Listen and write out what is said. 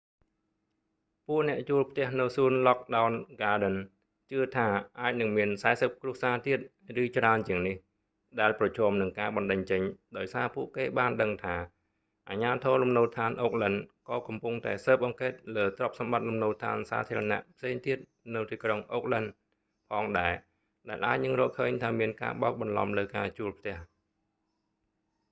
ពួកអ្នកជួលផ្ទះនៅសួនឡគ់ដោន ហ្គាដិន lockwood gardens ជឿថាអាចនឹងមាន 40 គ្រួសារទៀត ឬច្រើនជាងនេះដែលប្រឈមនឹងការបណ្តេញចេញ ដោយសារពួកគេបានដឹងថា អាជ្ញាធរលំនៅដ្ឋានអូកឡិន oha ក៏កំពុងតែស៊ើបអង្កេតលើទ្រព្យសម្បត្តិលំនៅដ្ឋានសាធារណៈផ្សេងទៀតនៅទីក្រុងអូកឡិន oakland ផងដែរដែលអាចនឹងរកឃើញថាមានការបោកបន្លំលើការជួលផ្ទះ